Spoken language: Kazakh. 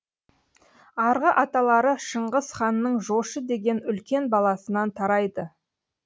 арғы аталары шыңғыс ханның жошы деген үлкен баласынан тарайды